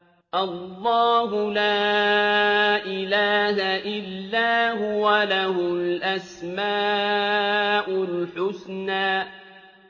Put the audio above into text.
اللَّهُ لَا إِلَٰهَ إِلَّا هُوَ ۖ لَهُ الْأَسْمَاءُ الْحُسْنَىٰ